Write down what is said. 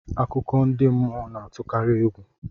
Akụkọ ndị mmụọ na-atụkarị egwu